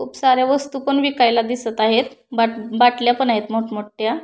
खूप साऱ्या वस्तु पण विकायला दिसत आहेत बा बाटल्या पण आहेत मोठ मोठ्या--